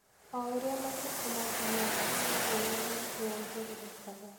O ũrĩa matukũ maathiaga, noguo wendo witũ wongererekaga.